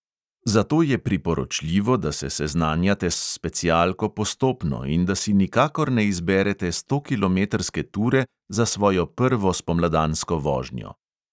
Zato je priporočljivo, da se seznanjate s specialko postopno in da si nikakor ne izberete stokilometrske ture za svojo prvo spomladansko vožnjo.